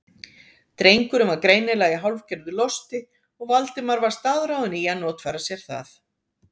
Drengurinn var greinilega í hálfgerðu losti og Valdimar var staðráðinn í að notfæra sér það.